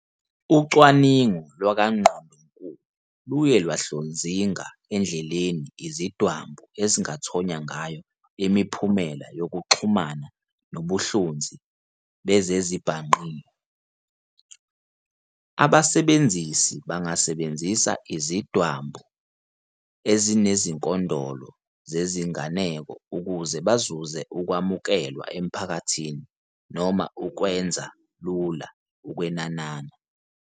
Ucwaningo lwakwaNgqondonkulu luye lwahlozinga endleleni izidwambu ezingathonya ngayo imiphumela yokuxhumana nobuhlonzi bezezibhangqiwe. Abasebenzisi bangasebenzisa izidwambu ezinezinkondolo zezinganeko ukuze bazuze ukwamukelwa emphakathini noma ukwenza lula ukwenanana.